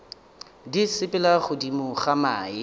di sepela godimo ga mae